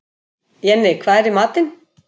Jenni, hvað er í matinn?